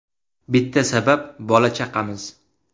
Bitta sabab bola-chaqamiz.